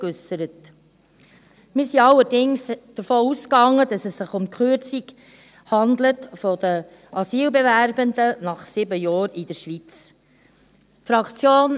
Wir gingen allerdings davon aus, dass es sich um die Kürzung bei den Asylbewerbenden nach sieben Jahren in der Schweiz handelt.